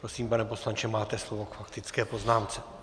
Prosím, pane poslanče, máte slovo k faktické poznámce.